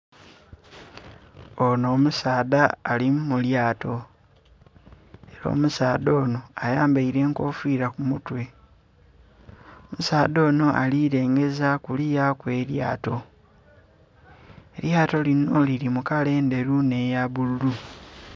Onho omusaadha ali mulyato era omusaadha onho ayambaire enkofira ku mutwe, omusaadha onho ali lengeza kuluya kwe lyato, elyato linho lili mu kala endheru nhe ya bbululu.